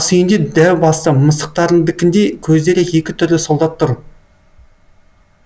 асүйінде дәу басты мысықтардікіндей көздері екі түрлі солдат тұр